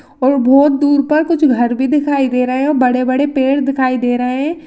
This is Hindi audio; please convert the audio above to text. और बहुत दूर तक घर दिखाई दे रहे है बड़े बड़े पेड़ दिखाई दे रहे है।